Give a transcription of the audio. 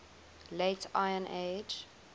late iron age